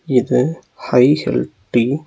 இது high hill டி .